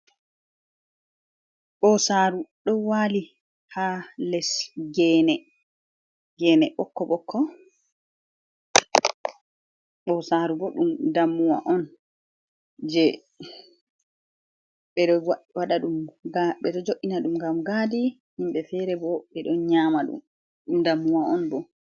Ɓosaru do wali ha les gene, gene ɓokko ɓokko ɓosaru bo ɗum dammuwa on, je ɓe ɗo jo'ina ɗum ngam gadi, himɓe fere bo ɓe nyama ɗum dammuwa on bo.